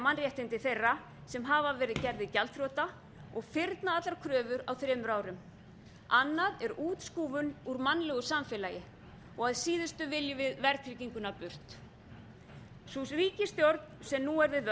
mannréttindi þeirra sem hafa verið gerðir gjaldþrota og fyrna allar kröfur á þremur árum annað er útskúfun úr mannlegu samfélagi að síðustu viljum við verðtrygginguna burt sú ríkisstjórn sem nú er við